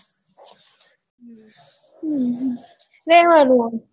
હમ રેવાનું